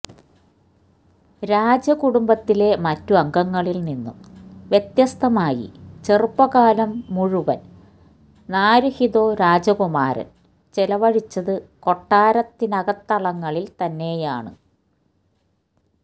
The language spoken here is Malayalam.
രാജകുടുംബത്തിലെ മറ്റ് അംഗംങ്ങളിൽ നിന്നും വ്യത്യസ്തമായി ചെറുപ്പകാലം മുഴുവൻ നാരുഹിതോ രാജകുമാരൻ ചിലവഴിച്ചത് കൊട്ടാരത്തിനകത്തളങ്ങളിൽ തന്നെയാണ്